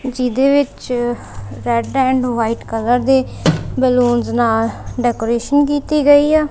ਜਿਹਦੇ ਵਿੱਚ red and white colour ਦੇ ਬੈਲੂਨਸ ਨਾਲ ਡੈਕੋਰੇਸ਼ਨ ਕੀਤੀ ਗਈ ਆ।